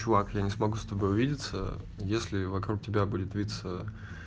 чувак я не смогу с тобой увидиться если вокруг тебя будет виться